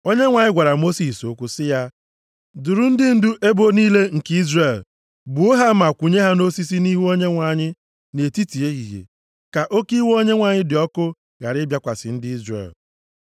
Onyenwe anyị gwara Mosis okwu sị ya, “Duru ndị ndu ebo niile nke Izrel gbuo ha ma kwụnye ha nʼosisi nʼihu Onyenwe anyị nʼetiti ehihie, ka oke iwe Onyenwe anyị dị ọkụ ghara ịbịakwasị ndị Izrel.”